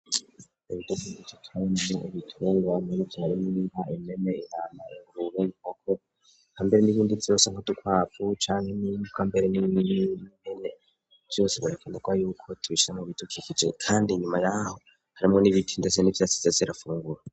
ibidubiikicarnye ibituber bamene byarimoimba imene inama inguruweoko ka mbere n'ibindits bos nka tukwapfu cane nikambere n'iiimene byose barekanda ko ayuko tubisha mu bitukikice kandi inyuma yaho harimwo n'ibiti ndese nibyasitezirafungura